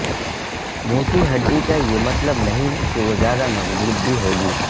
موٹی ہڈی کا یہ مطلب نہیں کہ وہ زیادہ مضبوط بھی ہو گی